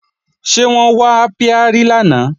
Ṣé wọ́n wá ápíárì lánàá